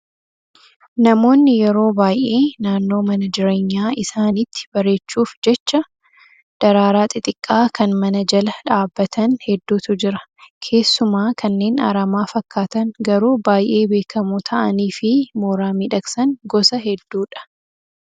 Namoonni yeroo baay'ee naannoo mana jireenya isaaniitti bareechuuf jecha, daraaraa xixiqqaa kan mana jala dhaabbatan hedduutu jira. Keessumaa kanneen aramaa fakkaatan garuu baay'ee beekamoo ta'anii fi mooraa miidhagsan gosa hedduudha.